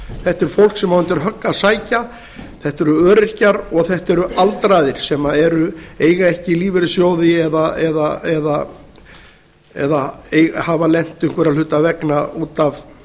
þetta er fólk sem á undir högg að sækja þetta eru öryrkjar og þetta eru aldraðir sem eiga ekki lífeyrissjóði eða hafa lent einhverra hluta vegna út af